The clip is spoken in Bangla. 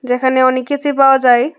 এখানে অনেক কিছুই পাওয়া যায়।